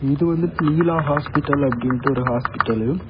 இது வந்துட்டு நீலா ஹாஸ்பிடல் அப்டீன்டு ஒரு ஹாஸ்பிடல்லு .